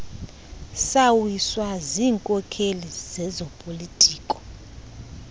sawiswa ziinkokeli zezopolitiko